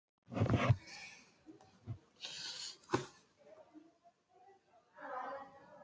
Þar eru tveir strákar í hrókasamræðum.